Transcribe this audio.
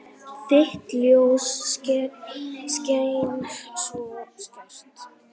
Þitt ljós skein svo skært.